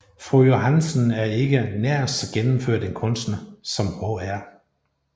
Fru Johansson er ikke nær så gennemført en kunstner som Hr